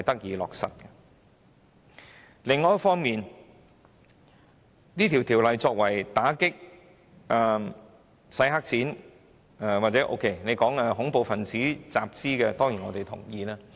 《條例草案》主要旨在打擊洗黑錢及恐怖分子集資，我對此當然同意。